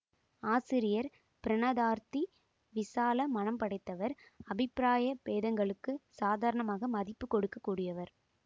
ஆசிரியர் பிரணதார்த்தி விசால மனம் படைத்தவர் அபிப்பிராய பேதங்களுக்கு சாதாரணமாக மதிப்பு கொடுக்ககூடியவர்